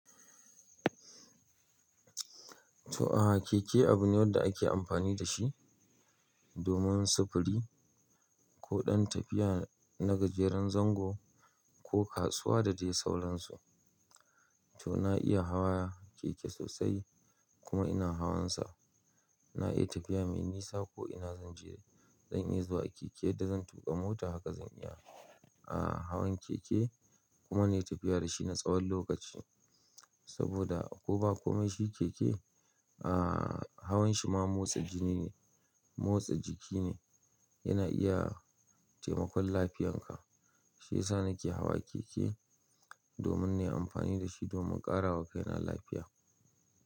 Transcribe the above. To, a'a keke abu ne wanda ake amfani da shi domin sufuri ko ɗan tafiya na gajeren zango ko kasuwa da dai sauran su. To, na iya hawa keke sosai kuma ina hawansa. Na iya tafiya mai nisa ko ina zan je, zan iya zuwa keke da zan tuƙa mota haka zan iya. A'a hawan keke kuma na yi tafiya da shi na tsawon lokaci saboda ko ba komai shi keke a'a hawan shi ma motsa jini ne, motsa jiki ne yana iya taimakon lafiyarka. Shiyasa nake hawa keke domin na yi amfani da shi domin ƙarawa kaina lafiya.